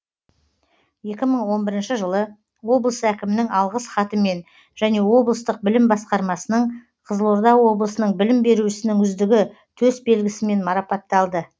екі мың он бірінші жылы облыс әкімінің алғыс хатымен және облыстық білім басқармасының қызылорда облысының білім беру ісінің үздігі төс белгісімен марапатталды